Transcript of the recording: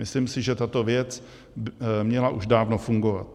Myslím si, že tato věc měla už dávno fungovat.